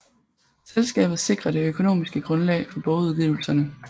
Selskabet sikrer det økonomiske grundlag for bogudgivelserne